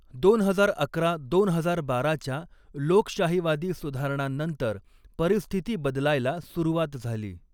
दोन हजार अकरा दोन हजार बाराच्या लोकशाहीवादी सुधारणांनंतर परिस्थिती बदलायला सुरूवात झाली.